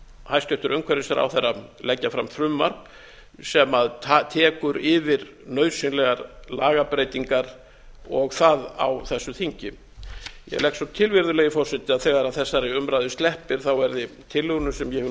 hæstvirtur umhverfisráðherra leggja fram frumvarp sem tekur yfir nauðsynlegar lagabreytingar og það á þessu þingi ég legg svo til virðulegi forseti að þegar þessari umræðu sleppir verði tillögunni sem ég hef nú